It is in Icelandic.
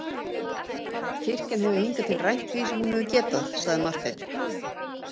Kirkjan hefur hingað til rænt því sem hún hefur getað, sagði Marteinn.